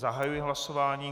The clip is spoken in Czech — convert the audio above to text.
Zahajuji hlasování.